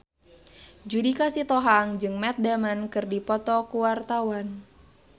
Judika Sitohang jeung Matt Damon keur dipoto ku wartawan